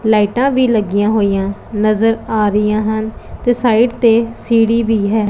ਲਾਈਟਾਂ ਵੀ ਲੱਗੀਆਂ ਹੋਈਆਂ ਨਜ਼ਰ ਆ ਰਹੀਆਂ ਹਨ ਤੇ ਸਾਈਡ ਤੇ ਸੀੜੀ ਵੀ ਹੈ।